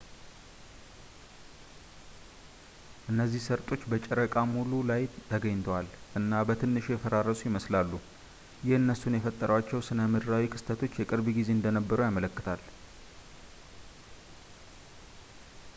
እነዚህ ሰርጦች በጨረቃ ሙሉ ላይ ተገኝተዋል እና በትንሹ የፈራረሱ ይመስላሉ ይህ እነሱን የፈጠሯቸው ስነምድራዊ ክስተቶች የቅርብ ጊዜ እንደነበሩ ያመለክታል